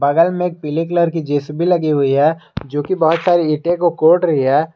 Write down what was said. में एक पीले कलर की जे_सी_बी लगी हुई है जो की बहुत सारी ईटे को कोड़ रही है।